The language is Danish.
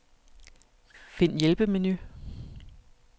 Find hjælpemenu.